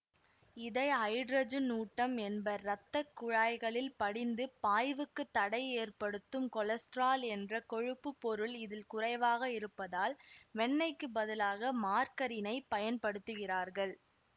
இதை ஹைட்ரஜனூட்டம் என்பர் இரத்த குழாய்களில் படிந்து பாய்வுக்குத் தடை ஏற்படுத்தும் கொலஸ்ட்ரால் என்ற கொழுப்புப்பொருள் இதில் குறைவாக இருப்பதால் வெண்ணைக்குப் பதிலாக மார்கரினைப் பயன்படுத்துகிறார்கள்